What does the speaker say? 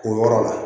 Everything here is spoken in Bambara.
O yɔrɔ la